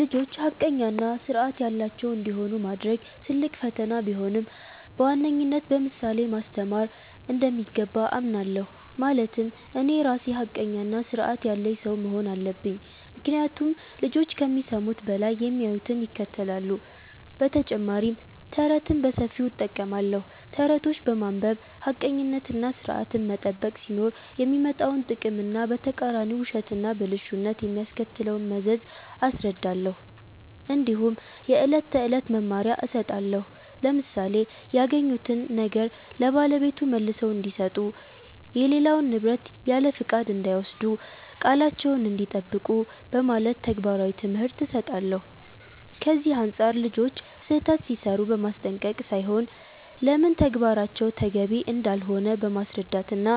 ልጆች ሐቀኛ እና ሥርዐት ያላቸው እንዲሆኑ ማድረግ ትልቅ ፈተና ቢሆንም፣ በዋነኝነት በምሳሌ ማስተማር እንደሚገባ አምናለሁ። ማለትም እኔ ራሴ ሐቀኛና ሥርዐት ያለኝ ሰው መሆን አለብኝ፤ ምክንያቱም ልጆች ከሚሰሙት በላይ የሚያዩትን ይከተላሉ። በተጨማሪም ተረትን በሰፊው እጠቀማለሁ። ተረቶችን በማንበብ ሐቀኝነትና ሥርዐትን መጠበቅ ሲኖር የሚመጣውን ጥቅም እና በተቃራኒው ውሸትና ብልሹነት የሚያስከትለውን መዘዝ አስረዳለሁ። እንዲሁም የዕለት ተዕለት መመሪያ እሰጣለሁ፣ ለምሳሌ “ያገኙትን ነገር ለባለቤቱ መልሰው እንዲሰጡ”፣ “የሌላውን ንብረት ያለፍቃድ እንዳይወስዱ”፣ “ቃላቸዉን እንዲጠብቁ ” በማለት ተግባራዊ ትምህርት እሰጣለሁ። ከዚህ አንጻር ልጆች ስህተት ሲሠሩ በማስጠንቀቅ ሳይሆን ለምን ተግባራቸው ተገቢ እንዳልሆነ በማስረዳት እና